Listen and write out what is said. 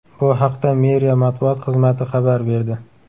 Bu haqda meriya matbuot xizmati xabar berdi .